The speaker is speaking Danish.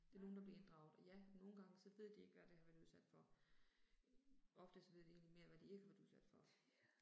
Det er nogle der bliver inddraget, og ja, nogle gange så ved de ikke, hvad det har været udsat for. Ofte så ved de egentlig mere, hvad de ikke har været udsat for